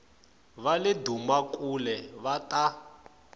va le dumakule va ta